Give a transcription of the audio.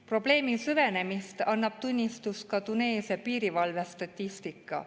Probleemi süvenemisest annab tunnistust ka Tuneesia piirivalve statistika.